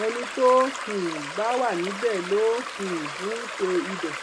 ẹni tó um bá wà níbẹ ló um ń ṣe ibẹ